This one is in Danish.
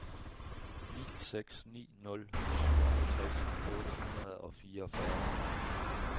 ni seks ni nul syvoghalvtreds otte hundrede og fireogfyrre